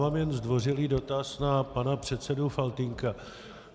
Mám jen zdvořilý dotaz na pana předsedu Faltýnka.